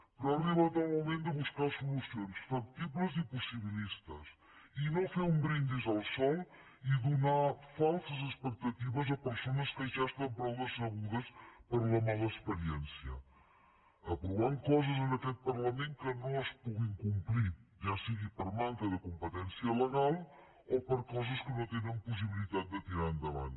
però ha arribat el moment de buscar solucions factibles i possibilistes i no fer un brindis al sol i donar falses expectatives a persones que ja estan prou decebudes per la mala experiència aprovant coses en aquest parlament que no es puguin complir ja sigui per manca de competència legal o per coses que no tenen possibilitat de tirar endavant